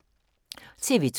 TV 2